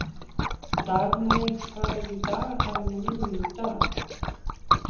Dagmey, hvað er á dagatalinu mínu í dag?